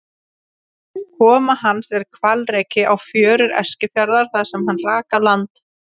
Koma hans er hvalreki á fjörur Eskifjarðar þar sem hann rak á land.